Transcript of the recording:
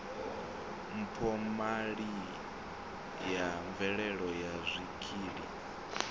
mphomali ya mveledzo ya zwikili